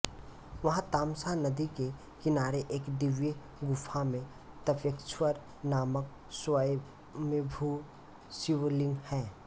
वहाँ तमसा नदी के किनारे एक दिव्य गुफा में तपेश्वर नामक स्वय्मभू शिवलिंग है